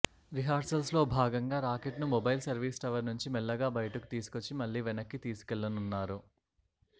రిహార్సల్లో భాగంగా రాకెట్ను mobile service tower నుంచి మెల్లగా బయటకు తీసుకొచ్చి మళ్లి వెనక్కి తీసుకెళ్లనున్నారు